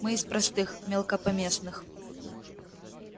мы из простых мелкопоместных